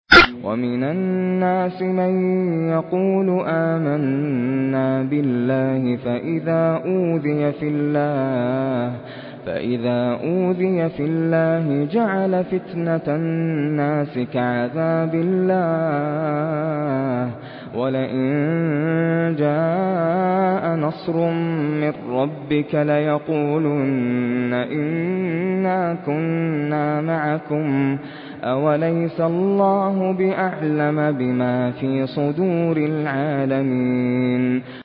وَمِنَ النَّاسِ مَن يَقُولُ آمَنَّا بِاللَّهِ فَإِذَا أُوذِيَ فِي اللَّهِ جَعَلَ فِتْنَةَ النَّاسِ كَعَذَابِ اللَّهِ وَلَئِن جَاءَ نَصْرٌ مِّن رَّبِّكَ لَيَقُولُنَّ إِنَّا كُنَّا مَعَكُمْ ۚ أَوَلَيْسَ اللَّهُ بِأَعْلَمَ بِمَا فِي صُدُورِ الْعَالَمِينَ